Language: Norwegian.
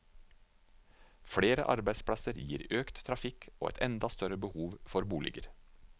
Flere arbeidsplasser gir økt trafikk og et enda større behov for boliger.